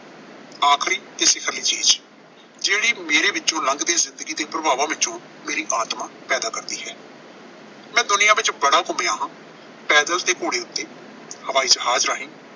ਆਖਰੀ ਚੀਜ਼, ਜਿਹੜੀ ਮੇਰੇ ਵਿੱਚੋਂ ਲੰਘ ਕੇ ਜ਼ਿੰਦਗੀ ਦੇ ਪ੍ਰਭਾਵਾਂ ਵਿੱਚੋਂ ਮੇਰੀ ਆਤਮਾ ਪੈਦਾ ਕਰਦੀ ਹੈ। ਮੈਂ ਦੁਨੀਆਂ ਵਿੱਚ ਬੜਾ ਘੁੰਮਿਆ ਹਾਂ। ਪੈਦਲ ਤੇ ਘੋੜ ਉੱਤੇ, ਹਵਾਈ ਜਹਾਜ਼ ਰਾਹੀਂ।